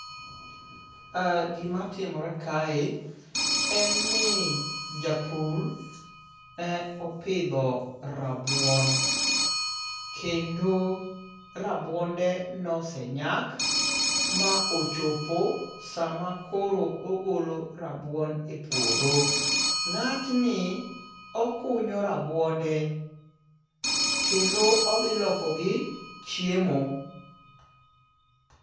Ah, gimatimore kae en ni japur e opidho rabuon. Kendo rabuonde nosenyak ma ochopo sama koro ogolo rabuon e puodho. Ng'atni okunyo rabuonde, kedno odhi lokogi chiemo.